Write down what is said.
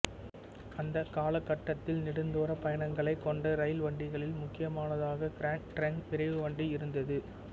அந்த காலகட்டத்தில் நெடுந்தூரப் பயணங்களைக் கொண்ட ரயில் வண்டிகளில் முக்கியமானதாக கிராண்ட் டிரங்க் விரைவுவண்டி இருந்தது